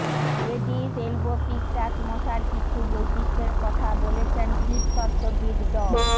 Aedes albopictus মশার কিছু বৈশিষ্ট্যের কথা বলেছেন কীতত্ত্ববিদ ড